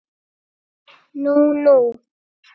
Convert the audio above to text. Nú nú.